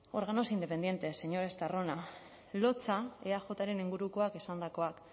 organismos independientes señor estarrona lotsa eajren ingurukoak esandakoak